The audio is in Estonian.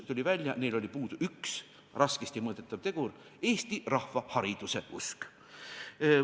Tuli välja, et neil oli puudu üks raskesti mõõdetav tegur: eesti rahva hariduseusk.